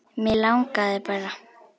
Mig langaði bara.